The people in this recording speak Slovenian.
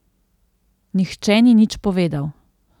Nihče ni nič povedal.